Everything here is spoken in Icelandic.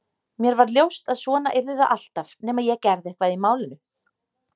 Mér varð ljóst að svona yrði það alltaf nema ég gerði eitthvað í málinu.